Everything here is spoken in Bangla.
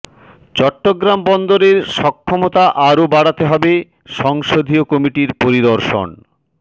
চট্টগ্রাম বন্দরের সক্ষমতা আরও বাড়াতে হবে সংসদীয় কমিটির পরিদর্শন